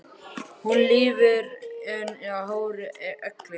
Hún lifir enn í hárri elli.